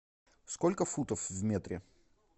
сколько футов в метре